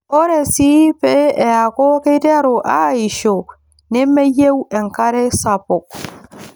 Ore sii pee eeku keiteru aaisho nemeyieu enkare sapuk.